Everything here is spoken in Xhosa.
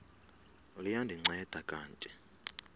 liya ndinceda kanti